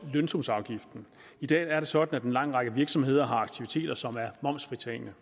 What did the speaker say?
lønsumsafgiften i dag er det sådan at en lang række virksomheder har aktiviteter som er fritaget